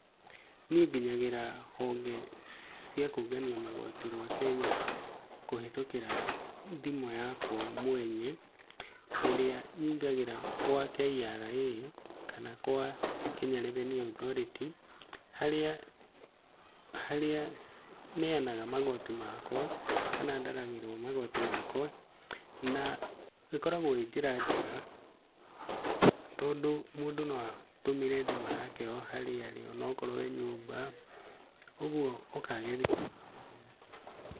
Niĩ nginyagĩra honge cia kũngania magoti rwa Kenya, kũhĩtũkĩra thimũ yakwa mwene, irĩa nyingagĩra gwa KRA kana gwa Kenya Revenue Authority, harĩa harĩa neyanaga magoti makwa kana ndaragĩrwo magoti makwa, na ĩkoragwo ĩ njĩra njega tondũ mũndũ no atũmĩre thimũ yake o harĩa arĩ, o na okorwo e nyũmba, ũguo ũkagĩrithia.